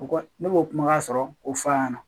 U ko ne b'o kumakan sɔrɔ k'o fɔ a ɲɛna